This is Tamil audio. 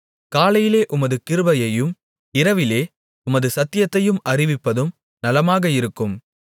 காலையிலே உமது கிருபையையும் இரவிலே உமது சத்தியத்தையும் அறிவிப்பதும் நலமாக இருக்கும்